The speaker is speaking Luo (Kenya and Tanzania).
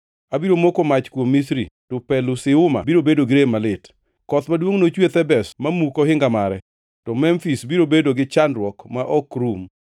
Abiro moko mach kuom Misri; to Pelusiuma biro bedo gi rem malit. Koth maduongʼ nochwe Thebes mamuk ohinga mare; to Memfis biro bedo gi chandruok ma ok rum.